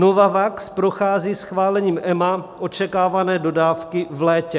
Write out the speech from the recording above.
Novavax prochází schválením EMA - očekávané dodávky v létě.